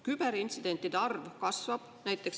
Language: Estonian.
Küberintsidentide arv kasvab.